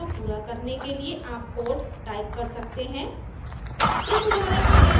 इस उदाहरण को पूरा करने के लिए आप कोड टाइप कर सकते हैं